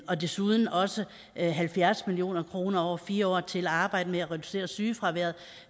og desuden også halvfjerds million kroner over fire år til at arbejde med at reducere sygefraværet